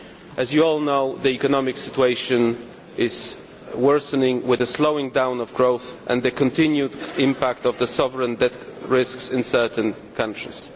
As you all know, the economic situation is worsening with a slowing down in growth, and a continued impact of the sovereign debt risks in certain countries.